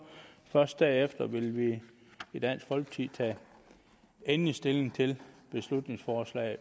først derefter vil vi i dansk folkeparti tage endelig stilling til beslutningsforslaget